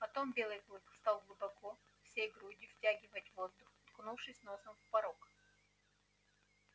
потом белый клык стал глубоко всей грудью втягивать воздух уткнувшись носом в порог